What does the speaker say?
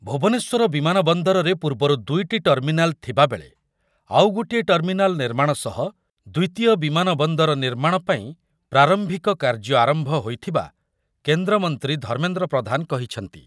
ଭୁବନେଶ୍ବର ବିମାନ ବନ୍ଦରରେ ପୂର୍ବରୁ ଦୁଇଟି ଟର୍ମିନାଲ୍ ଥିବାବେଳେ ଆଉ ଗୋଟିଏ ଟର୍ମିନାଲ୍ ନିର୍ମାଣ ସହ ଦ୍ୱିତୀୟ ବିମାନ ବନ୍ଦର ନିର୍ମାଣ ପାଇଁ ପ୍ରାରମ୍ଭିକ କାର୍ଯ୍ୟ ଆରମ୍ଭ ହେଇଥିବା କେନ୍ଦ୍ରମନ୍ତ୍ରୀ ଧର୍ମେନ୍ଦ୍ର ପ୍ରଧାନ କହିଛନ୍ତି।